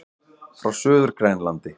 Frá Suður-Grænlandi.